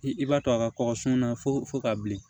I b'a to a ka kɔkɔ sunw na fɔ ka bilen